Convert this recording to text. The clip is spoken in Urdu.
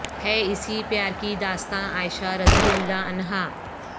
ہے اسی پیار کی داستاں عائشہ رضی اللہ عنہا